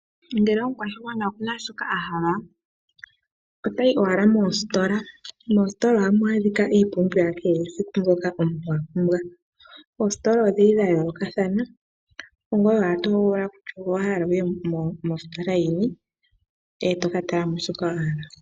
Ngele omukwashigwana oku na shoka a hala otayi owala moositola. Moositola ohamu adhika iipumbiwa ya kehesiku mbyoka omuntu a pumbwa. Oositola odhi li dha yoolokathana, ongoye owala to hogolola kutya owa hala wu ye mositola yini e to ka tala mo shoka wa hala.